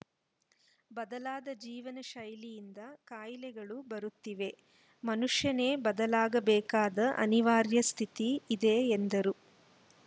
ಬದಲಾದ ಜೀವನ ಶೈಲಿಯಿಂದ ಕಾಯಿಲೆಗಳು ಬರುತ್ತಿವೆ ಮನುಷ್ಯನೇ ಬದಲಾಗಬೇಕಾದ ಅನಿವಾರ್ಯ ಸ್ಥಿತಿ ಇದೆ ಎಂದರು